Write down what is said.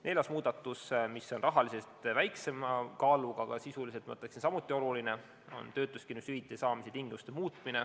Neljas muudatus, mis on rahaliselt väiksema kaaluga, aga sisuliselt samuti oluline, on töötuskindlustushüvitise saamise tingimuste muutmine.